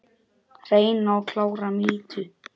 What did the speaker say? Hreina og klára mýtu?